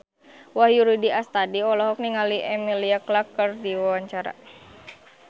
Wahyu Rudi Astadi olohok ningali Emilia Clarke keur diwawancara